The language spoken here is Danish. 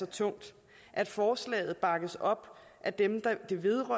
tungt at forslaget bakkes op af dem det vedrører